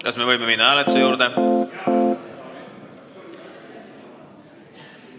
Kas me võime minna hääletuse juurde?